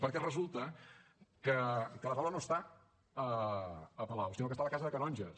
perquè resulta que la taula no està a palau sinó que està a la casa dels canonges